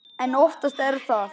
En oftast er það